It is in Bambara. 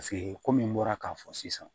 Paseke komi n bɔra k'a fɔ sisan